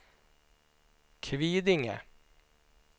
Kvidinge